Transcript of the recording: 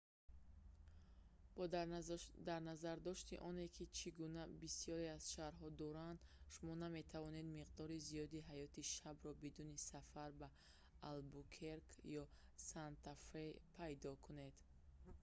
бо дарназардошти он ки чӣ гуна бисёре аз шарҳо шаҳр дар испания дуранд шумо наметавонед миқдори зиёди ҳаёти шабро бидуни сафар ба албукерке ё санта фе пайдо кунед